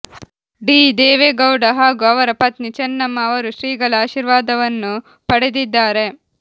D Devegowda ಹಾಗೂ ಅವರ ಪತ್ನಿ ಚೆನ್ನಮ್ಮ ಅವರು ಶ್ರೀಗಳ ಆಶೀರ್ವಾದವನ್ನು ಪಡೆದಿದ್ದಾರೆ